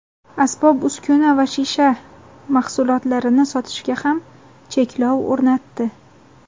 asbob-uskuna va shisha mahsulotlarini sotishga ham cheklov o‘rnatdi.